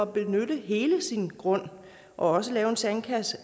benytte hele sin grund og også lave en sandkasse